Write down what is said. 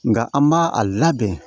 Nka an b'a a labɛn